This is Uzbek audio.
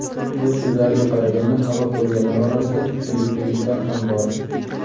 Uning so‘zlariga qaraganda, halok bo‘lganlar orasida filippinliklar ham bor.